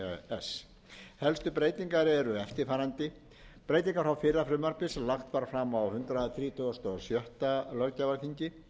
s helstu breytingar eru eftirfarandi breytingar frá fyrra frumvarpi sem lagt var fram hundrað þrítugasta og sjötta löggjafarþingi